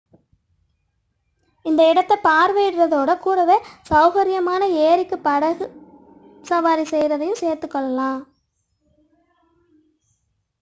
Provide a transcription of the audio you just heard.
இந்த இடத்தை பார்வையிடுவதோடு கூட வே சௌகரியமாக ஏரிக்கு படகு சவாரி செய்வதையும் சேர்த்துக்கொள்ளலாம்